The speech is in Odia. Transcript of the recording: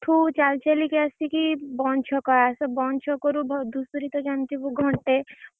ସେଠୁ ଚାଲିଚାଲି କି ଆସିକି ବନ୍ଥ୍ ଛକ ଆସେ, ଛକରୁ ଧୁସୁରୀ ତ ଜାଣିଥିବୁ ଘଣ୍ଟେ,